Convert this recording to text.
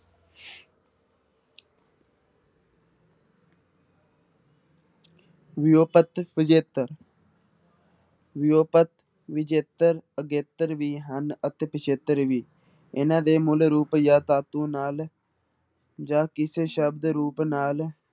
ਵਿਊਪਤ ਵਿਜੇਤਰ ਵਿਊਪਤ ਵਿਜੇਤਰ ਅਗੇਤਰ ਵੀ ਹਨ ਅਤੇ ਪਿੱਛੇਤਰ ਵੀ, ਇਹਨਾਂ ਦੇ ਮੂਲ ਰੂਪ ਜਾਂ ਧਾਤੂ ਨਾਲ ਜਾਂ ਕਿਸੇ ਸ਼ਬਦ ਰੂਪ ਨਾਲ